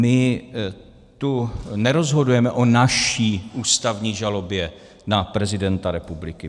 My tu nerozhodujeme o naší ústavní žalobě na prezidenta republiky.